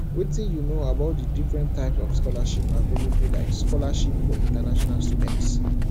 wetin you know about di different types of scholarships available like scholarships for international students